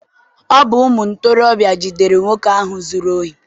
Ọ bụ ụmụ ntorobịa jidere nwoke ahụ zụrụ ohi.